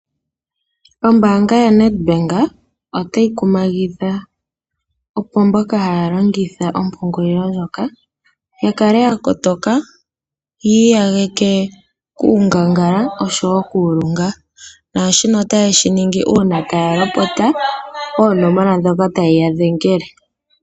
Ombaanga yaNedbank otayi kumagidha opo mboka haya longitha ompungulilo ndjoka ya kale ya kotoka yi iyagake kuungangala oshowo kuulunga, naashino otaye shi ningi uuna taya lopota oonomola ndhoka taye ya dhengele.